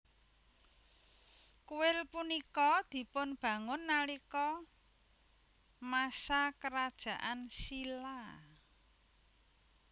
Kuil punika dipunbangun nalika masa kerajaan Silla